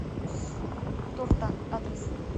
торта адрес